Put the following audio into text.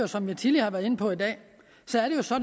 som jeg tidligere har været inde på i dag